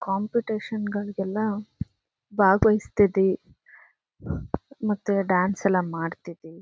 Competition ಗಳಿಗೆ ಎಲ್ಲ ಭಾಗವಹಿಸ್ತಿದಿ ಮತ್ತೆ ಡಾನ್ಸ್ ಎಲ್ಲ ಮಾಡ್ತಿದಿ.